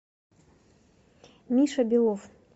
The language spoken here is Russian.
миша белов